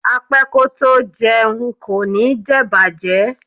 Apẹ́ kótó jẹun kò ní jẹ̀bàjẹ́.